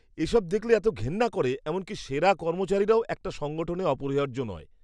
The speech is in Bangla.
এসব দেখলে এতো ঘেন্না করে, এমনকি সেরা কর্মচারীরাও একটা সংগঠনে অপরিহার্য নয়।